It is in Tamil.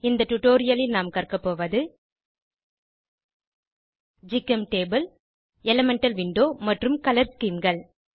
இந்த டுடோரியலில் நாம் கற்க போவது ஜிகெம்டேபுள் எலிமெண்டல் விண்டோ மற்றும் கலர் schemeகள்